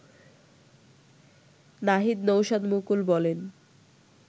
নাহিদ নওশাদমুকুল বলেন